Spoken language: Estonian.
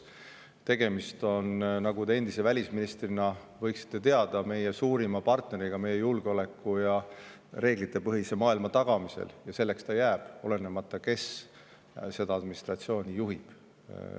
Tegemist on, nagu te endise välisministrina võiksite teada, meie suurima partneriga meie julgeoleku ja reeglitepõhise maailma tagamisel ja selleks ta ka jääb, olenemata, kes seda administratsiooni juhib.